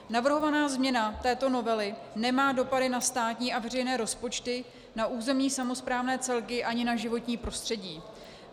Navrhovaná změna této novely nemá dopady na státní a veřejné rozpočty, na územní samosprávné celky ani na životní prostředí.